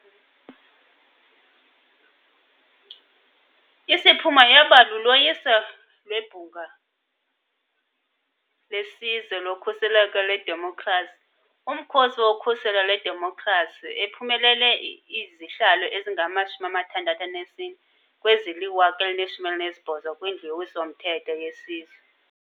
Isiphumo yaba luloyiso lweBhunga leSizwe loKhuseleko lweDemokhrasi - uMkhosi woKhuselo lweDemokhrasi, ephumelele izihlalo ezingama-64 kwezili-1018 kwiNdlu yoWiso-mthetho yeSizwe.